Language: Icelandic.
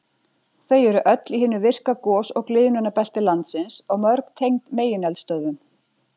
Þau eru öll í hinu virka gos- og gliðnunarbelti landsins og mörg tengd megineldstöðvum.